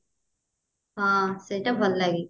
ହଁ ସେଇଟା ଭଲ ଲାଗେ